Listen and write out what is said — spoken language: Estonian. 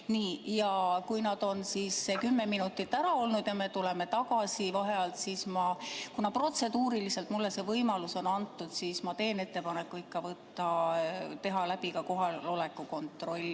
Nii, ja kui me oleme need kümme minutit ära olnud ja tuleme vaheajalt tagasi, siis ma, kuna protseduuriliselt mulle see võimalus on antud, teen ettepaneku viia läbi ka kohaloleku kontroll.